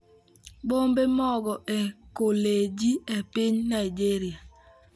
Bombe Mogo e Koleji e Piny Nigeria